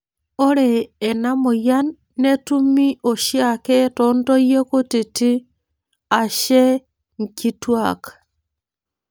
Ore enamoyian netumi oshiake tontoyie kutiti ashe nkitwak.